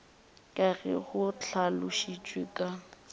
ka ge go hlalošitšwe ka